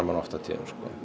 mann oft á tíðum